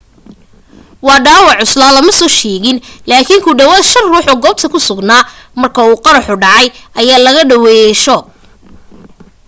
wax dhaawac culusa lama soo sheegin laakin ku dhawaad shan ruux oo goobta ku sugnaa marka uu qaraxa dhacay ayaa laga daaweyay shoog